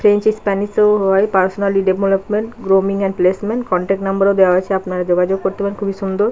French স্পনসিস ও হয় পার্সোনালয় development grooming and placement contact number ও দেয়া আছে আপনারা যোগাযোগ করতে পারেন খুবই সুন্দর।